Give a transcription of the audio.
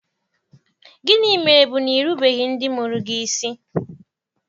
Gịnị mere bụ na i rubeghị ndị mụrụ gị isi.